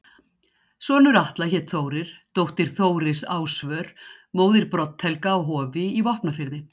Sonur Atla hét Þórir, dóttir Þóris Ásvör, móðir Brodd-Helga á Hofi í Vopnafirði.